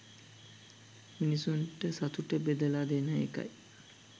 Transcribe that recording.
මිනිස්සුන්ට සතුට බෙදලා දෙන එකයි